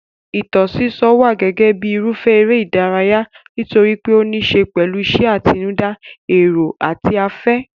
Ìtàn sísọ wà gẹ́gẹ́ bíi irúfẹ́ eré ìdárayá nítorí pé ó níí ṣe pẹ̀lú ìṣe àtinúdá, èrò àti afẹ́.